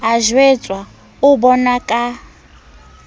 a jwetswa o bonwa ka